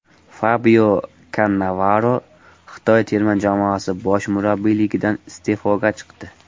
Fabio Kannavaro Xitoy terma jamoasi bosh murabbiyligidan iste’foga chiqdi.